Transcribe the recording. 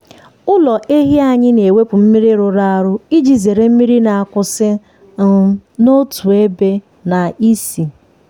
ụlọ ehi anyị na-ewepụ mmiri rụrụ arụ iji zere mmiri na-akwụsị um n’otu ebe na ísì.